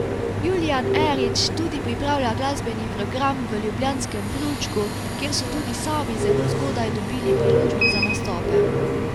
Julijan Erič tudi pripravlja glasbeni program v ljubljanskem Prulčku, kjer so tudi sami zelo zgodaj dobili priložnost za nastope.